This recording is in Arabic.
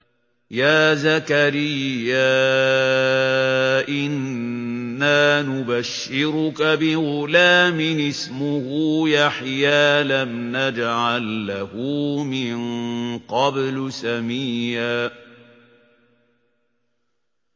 يَا زَكَرِيَّا إِنَّا نُبَشِّرُكَ بِغُلَامٍ اسْمُهُ يَحْيَىٰ لَمْ نَجْعَل لَّهُ مِن قَبْلُ سَمِيًّا